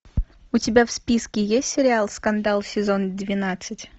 у тебя в списке есть сериал скандал сезон двенадцать